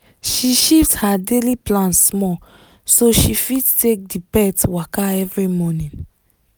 she shift her daily plan small so she fit take the pet waka every morning